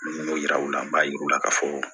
N ko yira u la n b'a yir'u la k'a fɔ